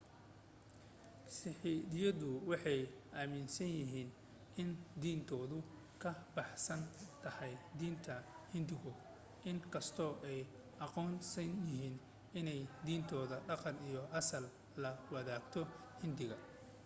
siikhyadu waxay aaminsan yihiin in diintoodu ka baxsan tahay diinta hinduuga in kastoo ay aqoonsan yihiin inay diintooda dhaqan iyo asal la wadaagto hinduuga